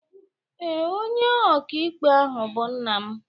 Ee, Onye okaikpe ahụ bụ nna m